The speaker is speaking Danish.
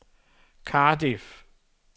Cardiff